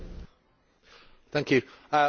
I was really interested in your speech.